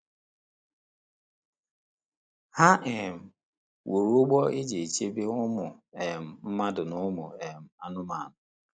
Ha um wuru ụgbọ e ji chebe ụmụ um mmadụ na ụmụ um anụmanụ.